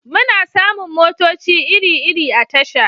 Muna samun motoci iri-iri a tasha